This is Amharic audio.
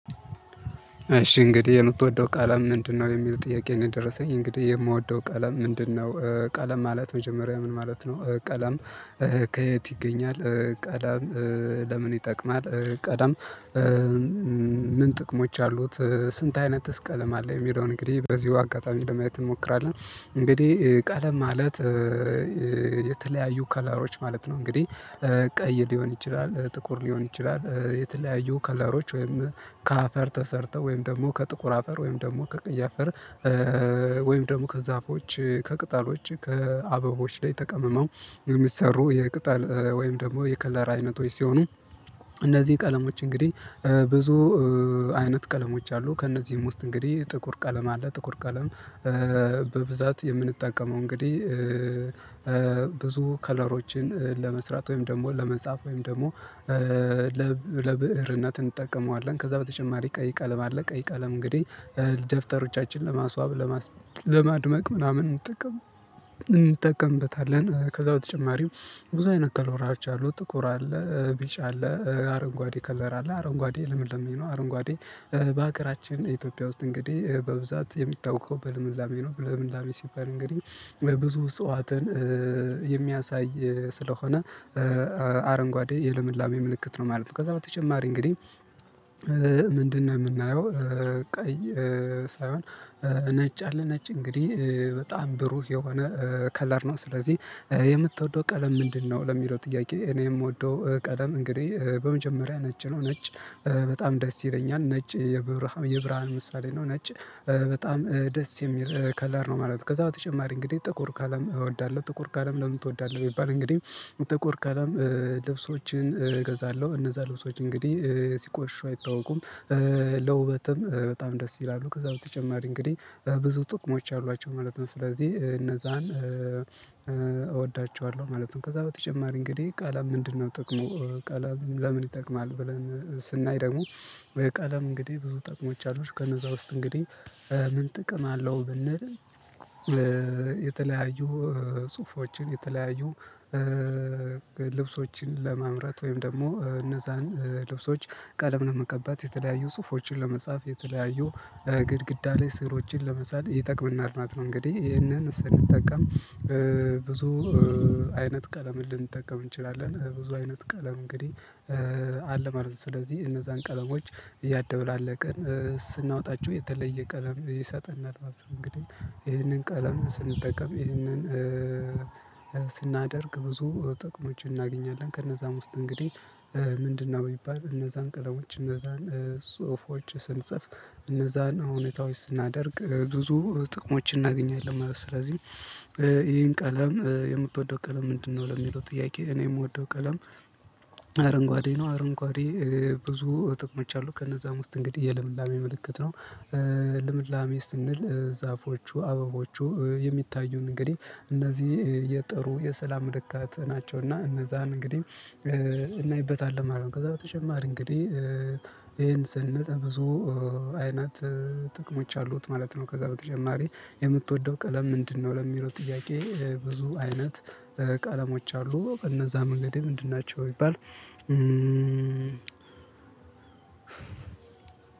እሺ እንግዲህ የምትወደው ቀለም ምንድነው? የሚል ጥያቄ ነው የደረሰኝ እንግዲህ የምወደው ቀለም ምንድነው ቀለም ማለት መጀመሪያ ምን ማለት ነው ቀለም። ከየት ይገኛል ቀለም ለምን ይጠቅማል ቀለም። ምን ጥቅሞች አሉት ስንት አይነትስ ቀለም አለ የሚለውን እንግዲህ በዚሁ አጋጣሚ ለማየት እንሞክራለን። እንግዲህ ቀለም ማለት የተለያዩ ከለሮች ማለት ነው። እንግዲህ ቀይ ሊሆን ይችላል ጥቁር ሊሆን ይችላል የተለያዩ ከለሮች ወይም ከአፈር ተሰርተው ወይም ደግሞ ከጥቁር አፈር ወይም ደግሞ ከቀይ አፈር። ወይም ደግሞ ከዛፎች ከቅጠሎች ከአበቦች ላይ ተቀምመው የሚሰሩ የቅጠል ወይም ደግሞ የከለር አይነቶች ሲሆኑ። እነዚህ ቀለሞች እንግዲህ ብዙ አይነት ቀለሞች አሉ ከእነዚህም ውስጥ እንግዲህ ጥቁር ቀለም አለ ጥቁር ቀለም በብዛት የምንጠቀመው እንግዲህ። ብዙ ከለሮችን ለመስራት ወይም ደግሞ ለመጻፍ ወይም ደግሞ ለብ ለብእርነት እንጠቀመዋለን። ከዛ በተጨማሪ ቀይ ቀለም አለ ቀይ ቀለም እንግዲህ ደፍተሮቻችን ለማስዋብ ለማስ ለማድመቅ ምናምን እንጠቀም እንጠቀምበታለን። ከዛ በተጨማሪም ብዙ አይነት ከለሮች አሉ ጥቁር አለ ቢጭ አለ አረንጓዴ ከለር አለ አረንጓዴ ልምላሜ ነው አረንጓዴ በሀገራችን ኢትዮጵያ ውስጥ እንግዲህ በብዛት የሚታወቀው በልምላሜ ነው። ልምላሜ ሲባል እንግዲህ ብዙ እፀዋትን የሚያሳይ ስለሆነ አረንጓዴ የልምላሜ ምልክት ነው ማለት ነው። ከዛ በተጨማሪ እንግዲህ ምንድነው የምናየው ቀይ ሳይሆን ነጭ አለ ነጭ እንግዲህ በጣም ብሩህ የሆነ ከለር ነው። ስለዚህ የምትወደው ቀለም ምንድነው? ለሚለው ጥያቄ እኔ የምወደው ቀለም እንግዲህ በመጀመሪያ ነጭ ነው። ነጭ በጣም ደስ ይለኛል ነጭ የብርሃ የብርሃን ምሳሌ ነው ነጭ በጣም ደስ የሚል ከለር ነው ማለት ነው። ከዛ በተጨማሪ እንግዲህ ጥቁር ቀለም እወዳለሁ። ጥቁር ቀለም ለምን ትወዳለህ? ቢባል እንግዲህ ጥቁር ቀለም ልብሶችን እገዛለሁ እነዛ ልብሶች እንግዲህ ሲቆሽሹ አይታወቁም። ለውበትም በጣም ደስ ይላሉ ከዛ በተጨማሪ እንግዲህ ብዙ ጥቅሞች አሏቸው ማለት ነው ስለዚህ እነዛን እወዳቸዋለው ማለት ነው። ከዛ በተጨማሪ እንግዲህ ቀለም ምንድነው? ጥቅሙ ቀለም ለምን ይጠቅማል? ብለን ስናይ ደግሞ ቀለም እንግዲህ ብዙ ጥቅሞች አሉት ከነዛ ውስጥ እንግዲህ ምን ጥቅም አለው ብንል የተለያዩ ጽሁፎችን የተለያዩ ልብሶችን ለማምረት ወይም ደግሞ እነዛን ልብሶች ቀለም ለመቀባት የተለያዩ ጽሁፎችን ለመጻፍ የተለያዩ ግድግዳ ላይ ስዕሎችን ለመሳል ይጠቅመናል ማለት ነው። እንግዲህ ይህንን ስንጠቀም ብዙ አይነት ቀለምን ልንጠቀም እንችላለን ብዙ አይነት ቀለም እንግዲህ አለ ማለት ነው። ስለዚህ እነዛን ቀለሞች እያደበላለቅን ስናወጣቸው የተለየ ቀለም ይሰጠናል ማለት ነው። እንግዲህ ይህንን ቀለም ስንጠቀም ይህንን ስናደርግ ብዙ ጥቅሞችን እናገኛለን። ከነዛም ውስጥ እንግዲህ ምንድነው የሚባል እነዛን ቀለሞች እነዛን ጽሁፎች ስንጽፍ እነዛን እውነታዎች ስናደርግ ብዙ ጥቅሞችን እናገኛለን ማለት ስለዚህ ይሄን ቀለም የምትወደው ቀለም ምንድነው? ለሚለው ጥያቄ እኔ የምወደው ቀለም አረንጓዴ ነው። አረንጓዴ ብዙ ጥቅሞች አሉት ከነዛም ውስጥ እንግዲህ የልምላሜ ምልክት ነው። ልምላሜ ስንል ዛፎቹ አበቦቹ የሚታዩን እንግዲህ እነዚህ የጥሩ የሰላም ምልክት ናቸው። እና እነዛን እንግዲህ እናይበታለን ማለት ነው። ከዛ ተጨማሪ እንግዲህ ይሄን ስንል ብዙ አይነት ጥቅሞች አሉት ማለት ነው። ከዛ በተጨማሪ የምትወደው ቀለም ምንድነው? ለሚለው ጥያቄ ብዙ አይነት ቀለሞች አሉ እነዛም እንግዲህ ምንድን ናቸው ቢባል።